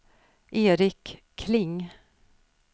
Eric Kling